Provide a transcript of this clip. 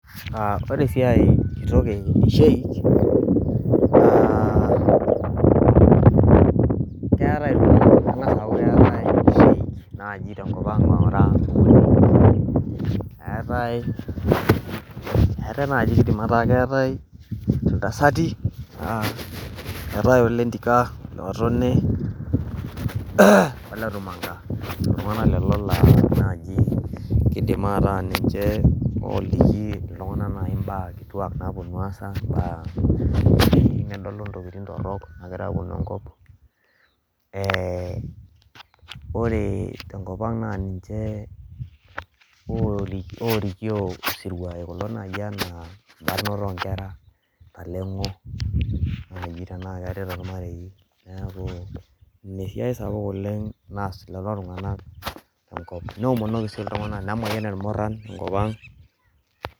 ore esiai kitok ee sheik naa keng'asa aaku keetae sheik naaji tenkop ang' eetae najii keidim ataa keetae iltasati eetae ole Ntika ole Tumanka iltung'anak lelo laa najii keidim ataa ninche oliki itung'anak nayii imbaa kituak naaponu aasa ena tenedolu intokiting' torok naagira aponu enkop ore tenkop ang' naa ninche oorikio isiruai kulo nayii ena embarnoto oo nkera intaleng'o nayii tena keetae toormarei neeku ina esiai sapuk oleng'naas lelo tung'anak tenkop neomonoki sii iltung'anak nemayian irmuran tenkop ang'